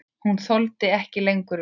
Hún þoldi ekki lengur við.